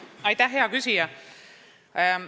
Aitäh, hea küsija!